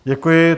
Děkuji.